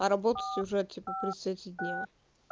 а работать уже типа при свете дня